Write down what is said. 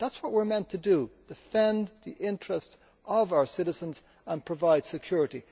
That is what we are meant to do defend the interests of our citizens and provide security.